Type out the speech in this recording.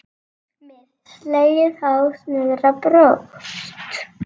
Með slegið hár niðrá brjóst.